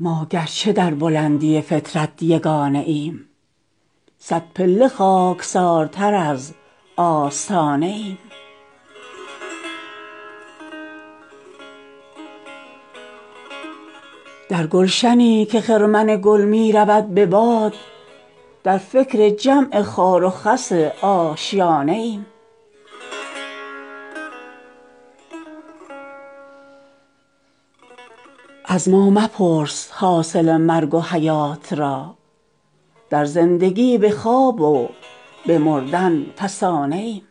ما گرچه در بلندی فطرت یگانه ایم صد پله خاکسارتر از آستانه ایم دیدیم اگرچه سنگ در او بارها گداخت ما غافل از گداز درین شیشه خانه ایم در گلشنی که خرمن گل می رود به باد در فکر جمع خار و خس آشیانه ایم از ما مپرس حاصل مرگ و حیات را در زندگی به خواب و به مردن فسانه ایم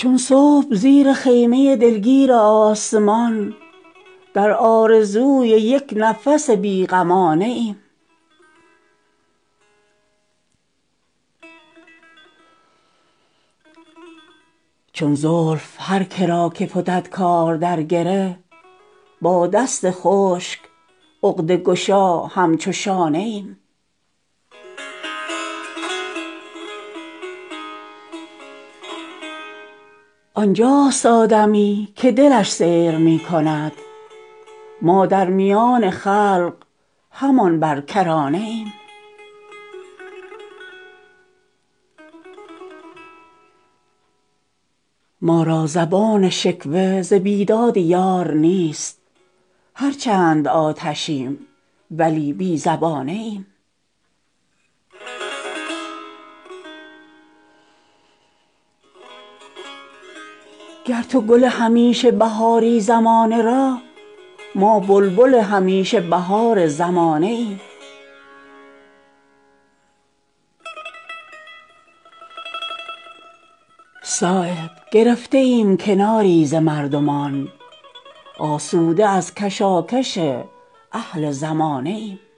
چون صبح زیر خیمه دلگیر آسمان در آرزوی یک نفس بی غمانه ایم چون زلف هرکه را که فتد کار در گره با دست خشک عقده گشا همچو شانه ایم دایم کمان چرخ بود در کمین ما در خاکدان دهر همانا نشانه ایم آنجاست آدمی که دلش سیر می کند ما در میان خلق همان بر کرانه ایم ما را زبان شکوه ز بیداد یار نیست هرچند آتشیم ولی بی زبانه ایم گر تو گل همیشه بهاری زمانه را ما بلبل همیشه بهار زمانه ایم در محفلی که روی تو عرض صفا دهد سرگشته تر ز طوطی آیینه خانه ایم صایب گرفته ایم کناری ز مردمان آسوده از کشاکش اهل زمانه ایم